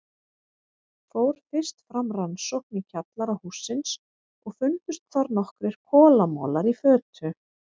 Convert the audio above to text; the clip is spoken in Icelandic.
Fór fyrst fram rannsókn í kjallara hússins og fundust þar nokkrir kolamolar í fötu.